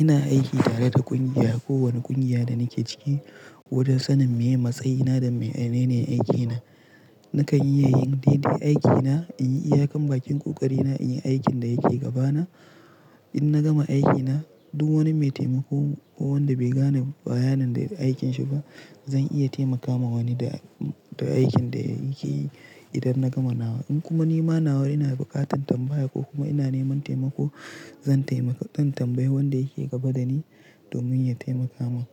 Ina aiki tare da ƙungiya, kowane ƙungiya da nake ciki, wajen sanin meye matsayina da menene aikina. Nakan iya yin daidai aikina, in yi iyakan bakin ƙoƙarina, in yi aikin da yake gabana. In na gama aikina, duk wani mai taimako ko wanda bai gane bayanin da aikinsa ba, zan iya taimaka wa wani da, da aikin da yake yi idan na gama nawa. In kuma ni ma nawa ina buƙatar tambaya ko kuma ina neman taimako, zan tambayi, zan tambayi wanda yake gaba dani domin ya taimaka mun.